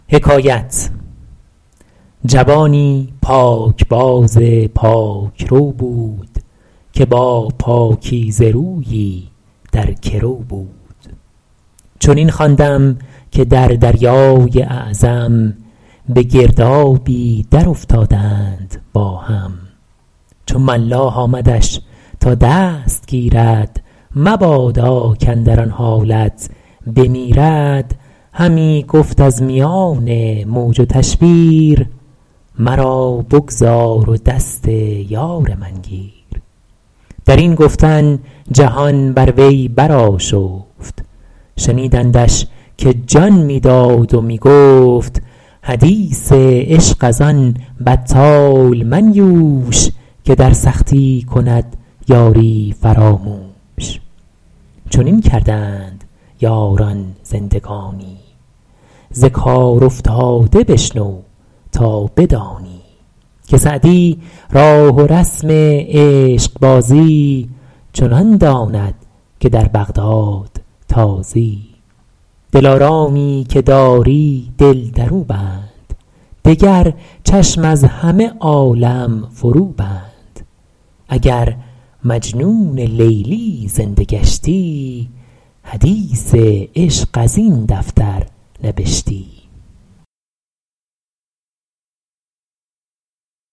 جوانی پاکباز و پاکرو بود که با پاکیزه رویی در گرو بود چنین خواندم که در دریای اعظم به گردابی درافتادند با هم چو ملاح آمدش تا دست گیرد مبادا کاندر آن حالت بمیرد همی گفت از میان موج و تشویر مرا بگذار و دست یار من گیر در این گفتن جهان بر وی برآشفت شنیدندش که جان می داد و می گفت حدیث عشق از آن بطال منیوش که در سختی کند یاری فراموش چنین کردند یاران زندگانی ز کار افتاده بشنو تا بدانی که سعدی راه و رسم عشقبازی چنان داند که در بغداد تازی دلارامی که داری دل در او بند دگر چشم از همه عالم فرو بند اگر مجنون لیلی زنده گشتی حدیث عشق از این دفتر نبشتی